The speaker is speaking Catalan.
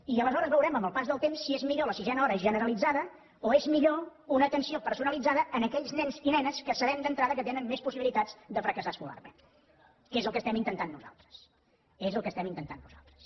i aleshores veurem amb el pas del temps si és millor la sisena hora generalitzada o és millor una atenció personalitzada en aquells nens i nenes que sabem d’entrada que tenen més possibilitats de fracassar escolarment que és el que estem intentant nosaltres és el que estem intentant nosaltres